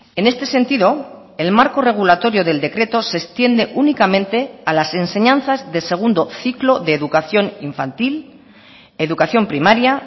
en este sentido el marco regulatorio del decreto se extiende únicamente a las enseñanzas de segundo ciclo de educación infantil educación primaria